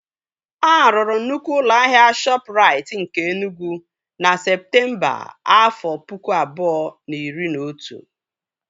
A rụrụ nnukwu ụlọ ahịa Shọpụrait nke Enugwu na Septemba, afọ pụkụ abụọ na iri na otu